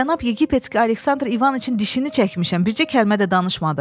Cənab Yeqipetski Aleksandr İvaniçin dişini çəkmişəm, bircə kəlmə də danışmadı.